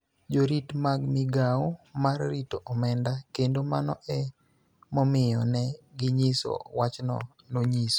Jorit mag migao mar rito Omenda kendo mano e momiyo ne ginyiso wachno, nonyiso.